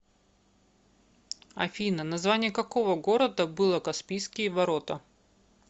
афина название какого города было каспийские ворота